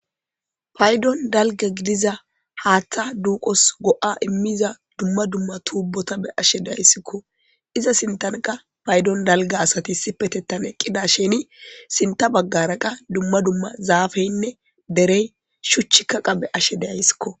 Paydon dalga gidiza haaththa duqos go'a immiza dumma dumma tuubbota be ashe dayssikko iza sintanqa paydon dalga asati sipetettan eqqida sheni sinta baggara qa dumma dumma zaafeynne derey shuchchi kaqa be ashe deayssikko.